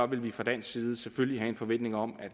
ville vi fra dansk side selvfølgelig have en forventning om